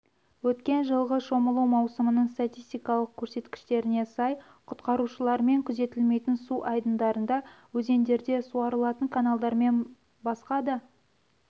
өткен жылғы шомылу маусымының статистикалық көрсеткіштеріне сай құтқарушылармен күзетілмейтін су айдындарында өзендерде суарылатын каналдармен басқа да